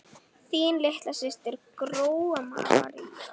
Þín litla systir, Gróa María.